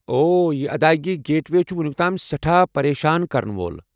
اوہ، یہِ ادائیگی گیٹ وے چھِ وونِیُک تام سیٹھاہ پریشان كرن وول۔